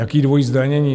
Jaké dvojí zdanění?